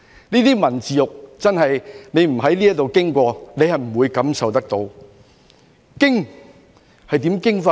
這些文字獄，真的未在此經歷過是不會感受得到的。